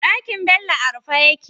Ɗakin Bello a rufe yake